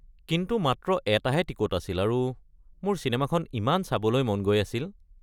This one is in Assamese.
কিন্তু মাত্ৰ এটাহে টিকট আছিল আৰু মোৰ চিনেমাখন ইমান চাবলৈ মন গৈ আছিল।